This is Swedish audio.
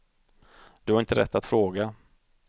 Du har inte rätt att fråga.